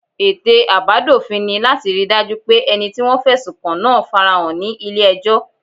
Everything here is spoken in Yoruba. Ète àbádòfin ni láti rí i dájú pé ẹni tí wọ́n fẹ̀sùn kàn náà fara hàn ní ilé ẹjọ́